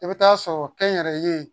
I bɛ taa sɔrɔ kɛnyɛrɛye